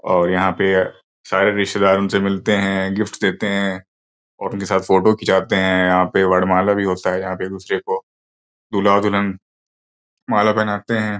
और यहाँ पे सारे रिश्तेदार उनसे मिलते हैं गिफ्ट देते हैं और उनके साथ फोटो खिंचवाते हैं। यहाँ पे वरमाला भी होता है यहाँ पे एक दुसरे को दूल्हा दुल्हन माला पहनाते हैं।